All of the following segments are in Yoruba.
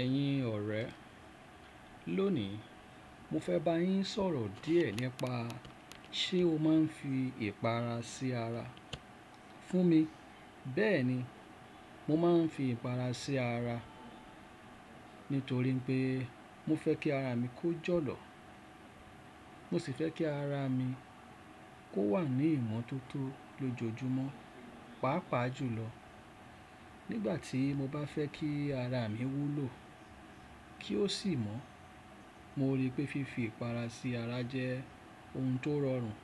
Ẹ̀yin ọ̀rẹ́, lónìí mo fẹ́ bá yín sọ̀rọ̀ díẹ̀ nípa ṣé o máa ń fi ìpara sí ara. Fún mi, bẹ́ẹ̀ni, mo máa ń fi ìpara sí ara nítorí pé mo fẹ́ kí ara mi kó jọ̀lọ̀. Mo sì fẹ́ kí ara mi kó wà ní ìmọ̀ tó tó lójoojúmọ́, pàápàá jùlọ nígbà tí mo bá fẹ́ kí ara mi wú lo kí ó sì mọ́. Mo rí pé fífi ìpara sí ara jẹ́ ohun tó rọrùn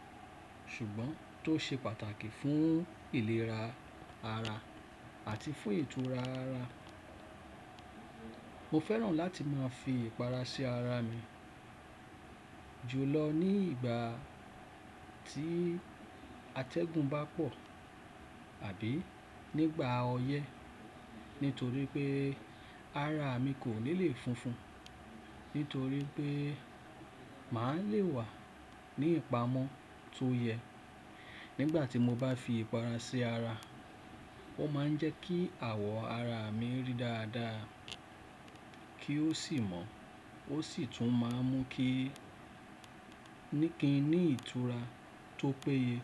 ṣùgbọ́n tó ṣe pàtàkì fún ìlera ara àti fún ìtura ara. Mo fẹ́ràn láti máa fi ìpara sí ara mi jùlọ ní ìgbà tí atẹ́gùn bá pọ̀ àbí nígbà ọyẹ́. Nítorí pé ara mi kò ní lè funfun nítorí pé màá le wà ní ìpamọ́ tó yẹ. Nígbà tí mo bá fi ìpara sí ara, ó máa ń jẹ́ kí àwọ̀ ara mi rí dáadáa kí ó sì mọ́. Ó sì tún máa ń mú kí níkínní ìtura tó péye.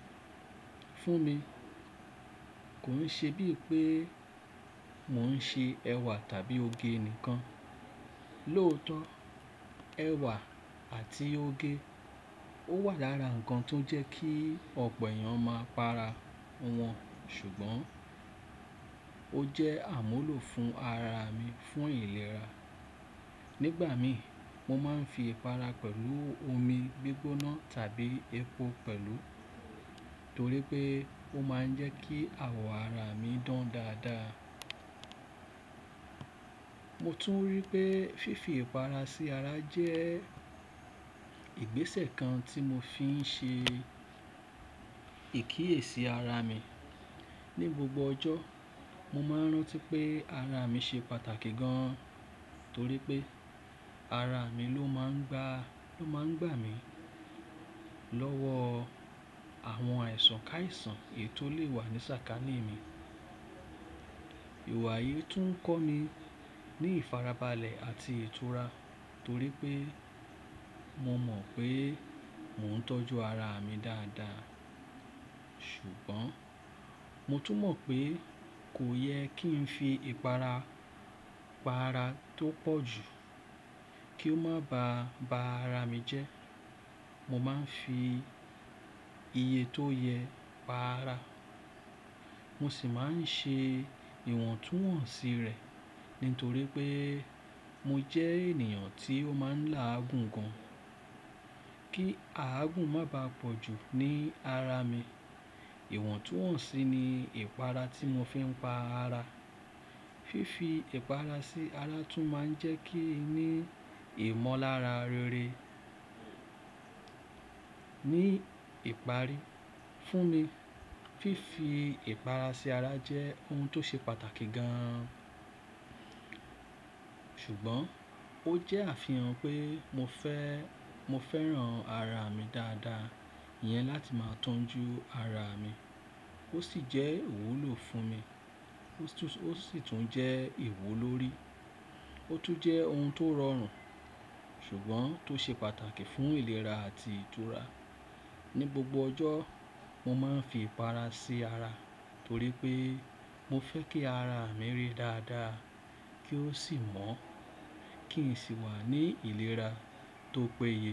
Fún mi, kò ń ṣe bíi pé mò ń ṣe ẹ̀wà tàbí oge nìkan. Lóòótọ́, ẹ̀wà àti oge ó wà lára ǹkan tó jẹ́ kí ọ̀pọ̀ èèyàn máa para wọn, ṣùgbọ́n ó jẹ́ àmúlò fún ara mi fún ìlera. Nígbà mi, mo máa ń fi ìpara pẹ̀lú omi gbígbóná tàbí epo pẹ̀lú torí pé ó máa ń jẹ́ kí àwọ̀ ara mi dán dáadáa. Mo tún rí pé fífi ìpara sí ara jẹ́ ìgbésẹ̀ kan tí mo fi ń ṣe ìkíye sí ara mi. Ni gbogbo ọjọ́, mo máa ń rántí pé ara mi ṣe pàtàkì gan torí pé ara mi ló máa ń gbà mí lọ́wọ́ àwọn àìsàn káàisàn èyí tó lè wà ní sàkání mi. Iwayi tún ń kọ́ni ní ìfarabalẹ̀ àti ìtura torí pé mo mọ̀ pé mò ń tọ́jú ara mi dáadáa. Ṣùgbọ́n mo tún mọ̀ pé kò yẹ kí n fi ìpara pa ara tó pọ̀jù kí ó máa ba ara mi jẹ́. Mo máa ń fi iye tó yẹ pa ara. Mo sì máa ń ṣe ìwọ̀ntúnwọ̀nsì rẹ̀ nítorí pé mo jẹ́ ènìyàn tí ó máa ń lá àgùn gan. Kí àgùn má bàá pọ̀jù ní ara mi. Ìwọ̀ntúnwọ̀nsì ni ìpara tí mo fi ń pa ara. Fífi ìpara sí ara tún máa ń jẹ́ kí n ní ìmọ̀lára rere. Ni ìparí, fún mi, fífi ìpara sí ara jẹ́ ohun tó ṣe pàtàkì gan. Ṣùgbọ́n ó jẹ́ àfihàn pé mo fẹ́ràn ara mi dáadáa yẹn láti máa tọ́jú ara mi. Ó sì jẹ́ ìwúlo fún mi. Ó sì tún jẹ́ ìwú lórí. Ó tún jẹ́ ohun tó rọrùn ṣùgbọ́n tó ṣe pàtàkì fún ìlera àti ìtura. Ni gbogbo ọjọ́, mo máa ń fi ìpara sí ara torí pé mo fẹ́ kí ara mi rí dáadáa kí ó sì mọ́ kí n sì wà ní ìlera tó péye.